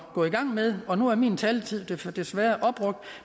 gå i gang med og nu er min taletid desværre opbrugt